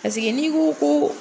ni ko ko.